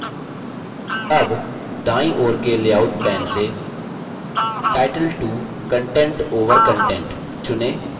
अब दायीँ ओर के लेआउट pane से title 2 content over content चुनें